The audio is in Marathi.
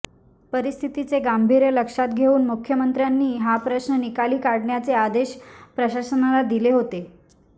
परिस्थितीचे गांभीर्य लक्षात घेऊन मुख्यमंत्र्यांनी हा प्रश्न निकाली काढण्याचे आदेश प्रशासनाला दिले होते